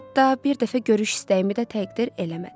Hətta bir dəfə görüş istəyimi də təqdir eləmədi.